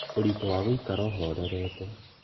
ũritũ wa gũikara ũhorerete